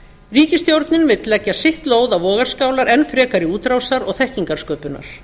ríkisstjórnin vill leggja sitt lóð á vogarskálar enn frekari útrásar og þekkingarsköpunar